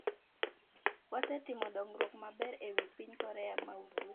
‘Wasetimo dongruok maber e wi piny Korea ma Ugwe.